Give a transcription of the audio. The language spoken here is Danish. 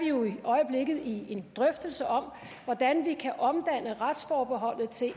jo i øjeblikket i en drøftelse om hvordan vi kan omdanne retsforbeholdet til